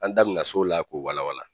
An da bɛna se o la k'o walawala.